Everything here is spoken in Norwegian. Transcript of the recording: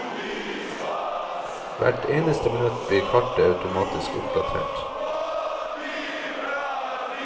Hvert eneste minutt blir kartet automatisk oppdatert.